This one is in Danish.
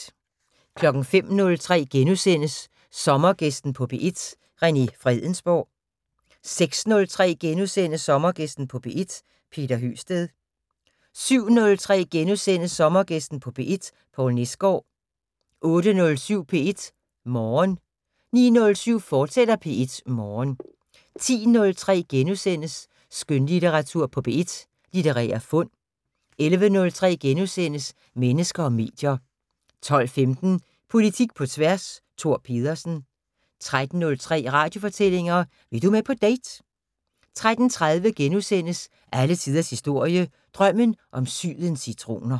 05:03: Sommergæsten på P1: René Fredensborg * 06:03: Sommergæsten på P1: Peter Høgsted * 07:03: Sommergæsten på P1: Poul Nesgaard * 08:07: P1 Morgen 09:07: P1 Morgen, fortsat 10:03: Skønlitteratur på P1: Litterære fund * 11:03: Mennesker og medier * 12:15: Politik på tværs: Thor Pedersen 13:03: Radiofortællinger: Vil du med på date? 13:30: Alle tiders historie: Drømmen om sydens citroner *